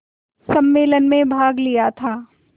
सम्मेलन में भाग लिया था